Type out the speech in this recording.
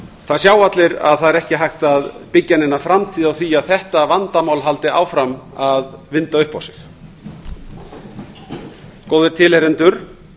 það sjá allir að það er ekki hægt að byggja neina framtíð á því að þetta vandamál haldi áfram að vinda upp á sig góðir tilheyrendur